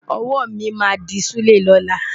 Ọwọ́ mi máa dí ṣúlẹ̀ lọ́la.